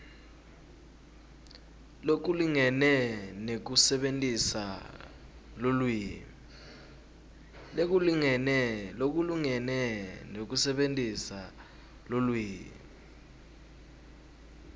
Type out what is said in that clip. lokulingene nekusebentisa lulwimi